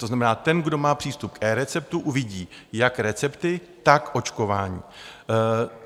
To znamená, ten, kdo má přístup k eReceptu, uvidí jak recepty, tak očkování.